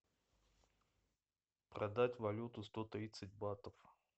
продать валюту сто тридцать батов